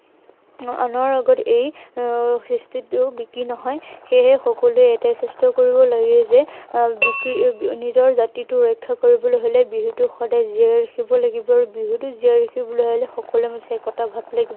আহ আনৰ আগত এই কৃষ্টিটো বিক্ৰী নহয়, সেয়েহে সকলোৱে এটাই চেষ্টা কৰিব লাগে যে, আহ নিজৰ জাতিটো ৰক্ষা কৰিবলৈ হলে বিহুটো সদায় জীয়াই ৰাখিব লাগিব। আৰু বিহুটো জীয়াই ৰাখিবলৈ হলে সকলোৰে মাজত একতা ভাৱ লাগিব।